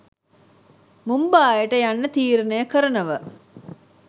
මුම්බායට යන්න තීරණය කරනව